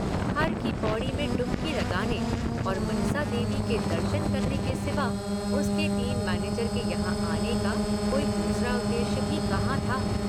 हर की पौड़ी में डूबकी लगाने और मनसा देवी के दर्शन करने के सिवा उसके टीम मैनेजर के यहाँ आने का कोई दूसरा उद्देश्य भी कहाँ था।